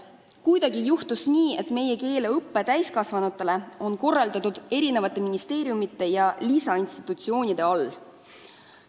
Kuidagi on juhtunud nii, et keeleõpe täiskasvanutele on korraldatud eri ministeeriumide ja muude institutsioonide käe all.